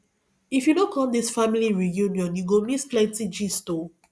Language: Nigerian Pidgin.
if you no come dis family reunion you go miss plenty gist o